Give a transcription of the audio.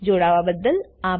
જોડાવાબદ્દલ આભાર